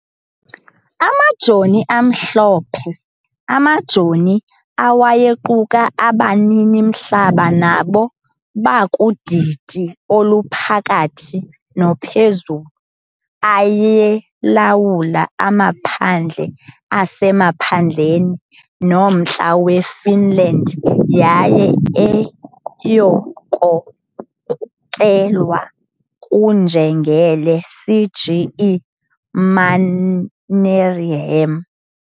Amajoni amhlophe amajoni, awayequka abanini-mhlaba nabo bakudidi oluphakathi nophezulu, ayelawula amaphandle asemaphandleni nomntla weFinland, yaye ayekhokelwa nguNjengele C. G. E. Mannerheim.